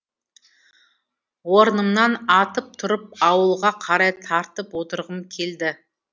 орнымнан атып тұрып ауылға қарай тартып отырғым келді